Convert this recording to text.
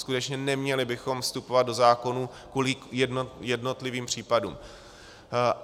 Skutečně, neměli bychom vstupovat do zákonů kvůli jednotlivým případům.